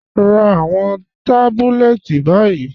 Rá àwọn tábùlẹ̀tì báyì.